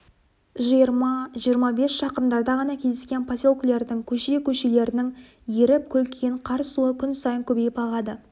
жиырма жиырма бес шақырымдарда ғана кездескен поселкелердің көше-көшелерінің еріп көлкіген қар суы күн сайын көбейіп ағады